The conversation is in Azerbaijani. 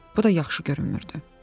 Bu da yaxşı görünmürdü.